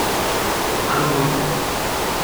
Malo morgen!